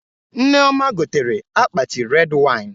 Nneoma gotere akpati red wine